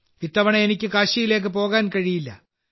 ഇത്തവണ എനിക്ക് കാശിയിലേക്ക് പോകാൻ കഴിയില്ല